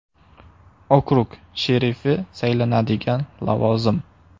Okrug sherifi saylanadigan lavozim.